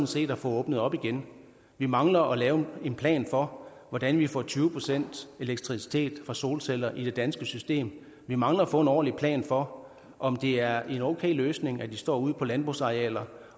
set at få åbnet op igen vi mangler at lave en plan for hvordan vi får tyve procent elektricitet fra solceller i det danske system vi mangler at få en ordentlig plan for om det er en okay løsning at de står ude på landbrugsarealer